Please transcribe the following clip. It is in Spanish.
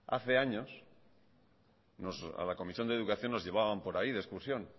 hace años a la comisión de educación nos llevaban por ahí de excursión